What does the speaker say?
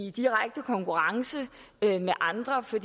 i direkte konkurrence med andre for